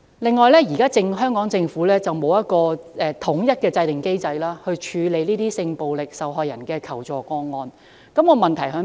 此外，現時香港政府並無制訂統一機制，處理性暴力受害人的求助個案，這有甚麼問題呢？